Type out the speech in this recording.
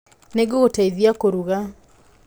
Nĩ ngũgũteithia kũruga.